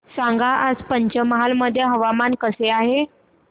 सांगा आज पंचमहाल मध्ये हवामान कसे आहे